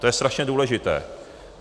To je strašně důležité.